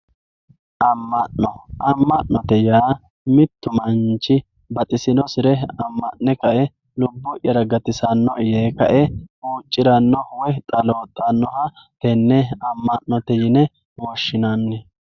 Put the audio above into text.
amma'no amma'note yaa mittu manchi baxisinosire amma'ne kae lubbo'yara gatisannoe yee kae huucciranno woy xaloooxxannoha tenne amma'note yine woshshinanni